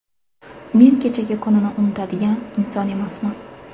Men kechagi kunini unutadigan inson emasman.